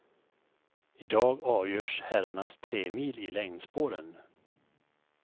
I dag avgörs herrarnas tremil i längdspåren.